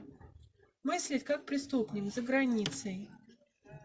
мысли как преступник за границей